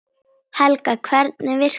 Helga: Hvernig virkar það?